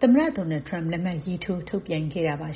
သမ္မတ Donald Trump လက်မှတ်ရေးထိုးထုတ်ပြန်ခဲ့ပါ